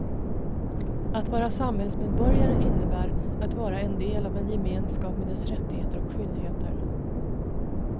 Att vara samhällsmedborgare innebär att vara en del av en gemenskap med dess rättigheter och skyldigheter.